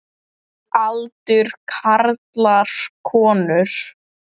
Aldur karlar konur